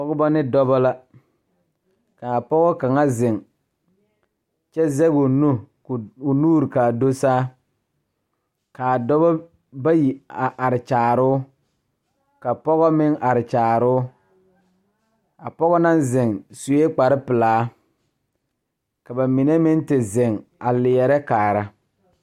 Die poɔ la ka dokogro biŋ ka tabol biŋ kaa dankyime e peɛle kaa dokogro e tampɛloŋ.